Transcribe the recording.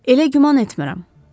Elə güman etmirəm.